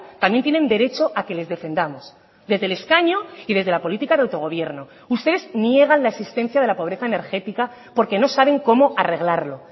también tienen derecho a que les defendamos desde el escaño y desde la política de autogobierno ustedes niegan la existencia de la pobreza energética porque no saben cómo arreglarlo